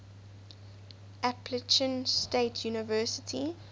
appalachian state university